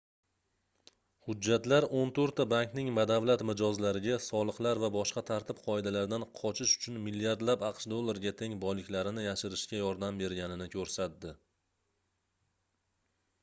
hujjatlar oʻn toʻrtta bankning badavlat mijozlariga soliqlar va boshqa tartib-qoidalardan qochish uchun milliardlab aqsh dollariga teng boyliklarini yashirishga yordam berganini koʻrsatdi